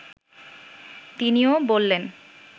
তিনিও বললেন